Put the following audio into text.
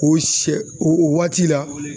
K'o sɛ o waati la